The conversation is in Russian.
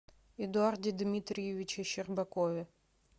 эдуарде дмитриевиче щербакове